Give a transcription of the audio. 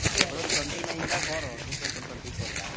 February Twenty nine தான் போறோம் two thousand twenty four ல